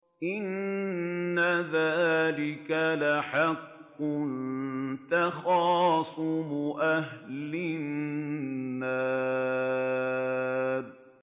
إِنَّ ذَٰلِكَ لَحَقٌّ تَخَاصُمُ أَهْلِ النَّارِ